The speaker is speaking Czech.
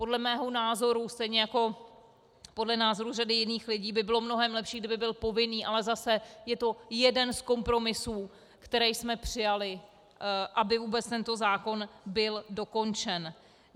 Podle mého názoru stejně jako podle názoru řady jiných lidí by bylo mnohem lepší, kdyby byl povinný, ale zase, je to jeden z kompromisů, které jsme přijali, aby vůbec tento zákon byl dokončen.